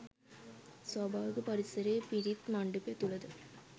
ස්වභාවික පරිසරය පිරිත් මණ්ඩපය තුළද